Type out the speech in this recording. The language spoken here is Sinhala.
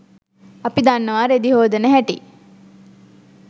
අපි දන්නවා රෙදි හෝදන හැටි